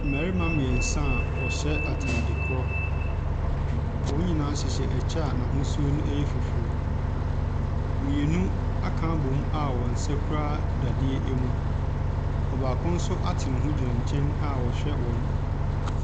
Mmarima mmiɛnsa a wɔhyɛ ataade korɔ. Wɔn nyinaa hyehyɛ kyɛ a n'ahosuo yɛ fufuo. Mmienu aka abɔ mu a wɔn nsa kura dadeɛ mu. Ɔbaako nso ate ne ho gyina nkyɛn a ɔrehwɛ wɔn.